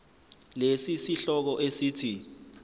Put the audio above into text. lesi sihloko esithi